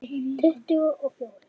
Tuttugu og fjórir.